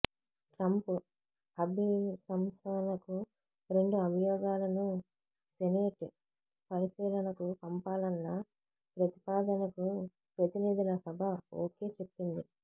Trump అభిశంసనకు రెండు అభియోగాలను సెనేట్ పరిశీలనకు పంపాలన్న ప్రతిపాదనకు ప్రతినిధుల సభ ఓకే చెప్పింది